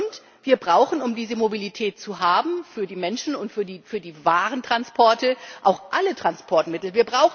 Und wir brauchen, um diese Mobilität zu haben, für die Menschen und für die Warentransporte auch alle Transportmittel.